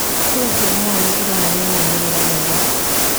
Kura cia mawoni ironania maumĩrĩra mega